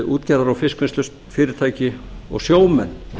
útgerðar og fiskvinnslufyrirtæki og sjómenn